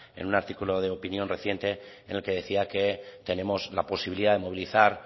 en un artículo de opinión reciente en el que decía que tenemos la posibilidad de movilizar